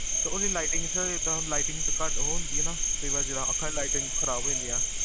ਤੇ ਓਦੀ lightningsir ਏਦਾਂ, lightning ਘਟ ਓਹ ਹੁੰਦੀ ਆ ਨਾ? ਕਈ ਵਾਰ ਜੇਹੜਾ ਆਖਾਂ ਚ lightning ਖਰਾਬ ਹੋਜਾਂਦੀ ਆ